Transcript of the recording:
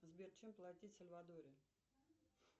сбер чем платить в сальвадоре